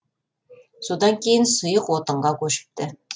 содан кейін сұйық отынға көшіпті